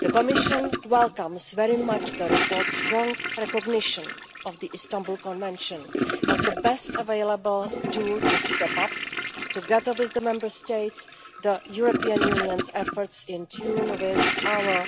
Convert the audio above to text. The Commission welcomes very much the report's strong recognition of the Istanbul Convention as the best available to step up, together with the Member States, the European Union's efforts in tune with our